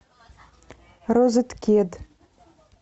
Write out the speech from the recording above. розеткед